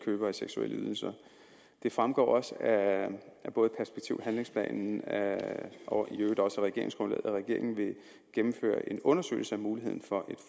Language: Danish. købere af seksuelle ydelser det fremgår også af perspektiv og handlingsplanen og i øvrigt også af regeringsgrundlaget at regeringen vil gennemføre en undersøgelse af muligheden for